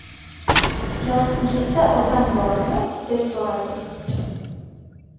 Yoningizda odam bormi, deb so‘radim.